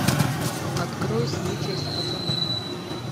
открой случай с пацаном